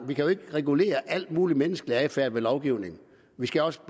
vi kan jo ikke bare regulere al mulig menneskelig adfærd ved lovgivning vi skal også